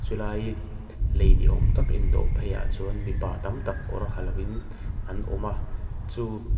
ti lai lei niawm tak in dawh phei ah chuan mipa tam tak kawr ha lo in an awm a chu--